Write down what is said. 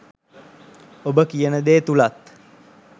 ඔබ කියන දේ තුලත්